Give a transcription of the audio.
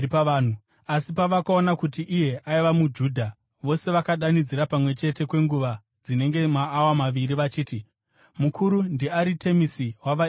Asi pavakaona kuti iye aiva muJudha, vose vakadanidzira pamwe chete kwenguva dzinenge maawa maviri vachiti, “Mukuru ndiAritemisi wavaEfeso!”